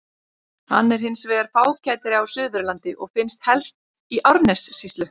Hann er hins vegar fágætari á Suðurlandi og finnst helst í Árnessýslu.